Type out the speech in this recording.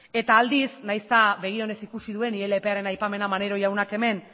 eta aldiz nahiz eta begi onez ikusi duen ilparen aipamena maneiro jaunak hemen